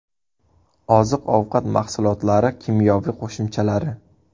Oziq-ovqat mahsulotlari kimyoviy qo‘shimchalari.